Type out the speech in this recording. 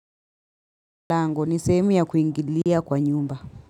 Lango ni sehemu ya kuingililia kwa nyumba.